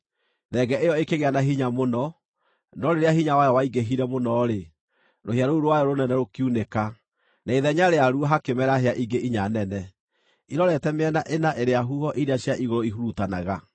Thenge ĩyo ĩkĩgĩa na hinya mũno, no rĩrĩa hinya wayo waingĩhire mũno-rĩ, rũhĩa rũu rwayo rũnene rũkiunĩka, na ithenya rĩaruo hakĩmera hĩa ingĩ inya nene, irorete mĩena ĩna ĩrĩa huho iria cia igũrũ ihurutanaga.